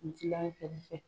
Dilan kɛrɛfɛ.